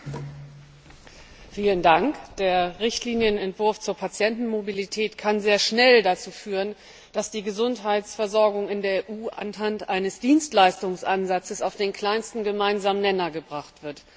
Herr Präsident! Der Richtlinienentwurf zur Patientenmobilität kann sehr schnell dazu führen, dass die Gesundheitsversorgung in der EU anhand eines Dienstleistungsansatzes auf den kleinsten gemeinsamen Nenner gebracht wird.